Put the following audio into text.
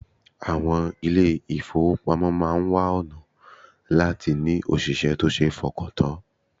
Àwọn ilé-ìfowópamọ́ máa wá ọ̀nà láti ní òṣìṣẹ́ tó ṣe fọkàntàn